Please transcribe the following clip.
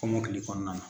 Kɔmɔkili kɔnɔna na